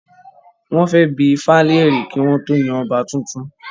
Wọ́n fẹ́ bi ifá lèrè kí wọ́n tó yan ọba tuntun